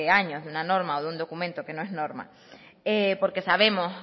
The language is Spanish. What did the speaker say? años de una norma o de un documento que no es norma porque sabemos